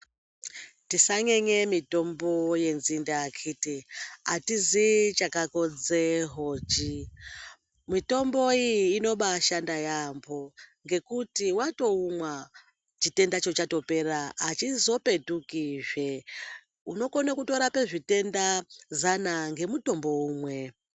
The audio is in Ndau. Tisanyenye mutombo wenzinde akhiti atizii chakakodza hochi. Mitombo iyi inobashanda yamho ngekuti watoumwa chitendacho chatopera achizopetukizve, unokona kurapa zvitenda zana ngemutombo umwe.